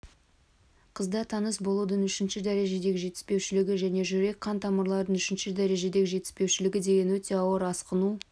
қызда тыныс алудың үшінші дәрежедегі жетіспеушілігі және жүрек-қан тамыралырының үшінші дәрежедегі жетіспеушілігі деген өте ауыр асқыну